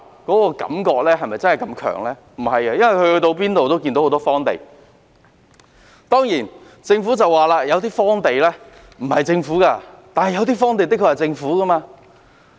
不是，而是因為他們到處也看到很多荒地，當然，政府會說有些荒地不屬於它，但有些荒地的確是屬於政府的。